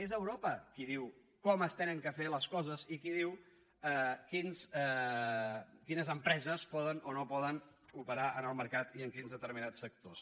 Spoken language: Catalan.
és europa qui diu com s’han de fer les coses i qui diu quines empreses poden o no poden operar en el mercat i en quins determinats sectors